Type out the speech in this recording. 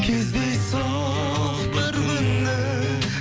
кездейсоқ бір күні